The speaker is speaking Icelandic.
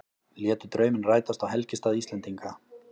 Létu drauminn rætast á helgistað Íslendinga